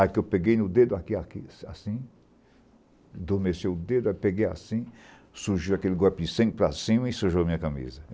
Aí que eu peguei no dedo aqui aqui, assim assim, adormeceu o dedo, aí peguei assim, surgiu aquele golpe de sangue para cima e sujou a minha camisa.